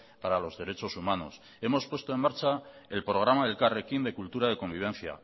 para los derechos humanos hemos puesto en marcha el programa elkarrekin de cultura de convivencia